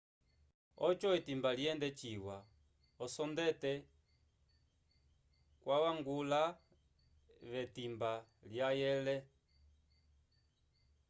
ojo etimba lyende ciwa osondete gwalangwala ve timba lwayele